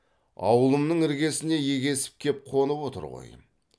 аулымның іргесіне егесіп кеп қонып отыр ғой